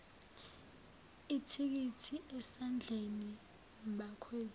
ithikithi esandleni bakwethu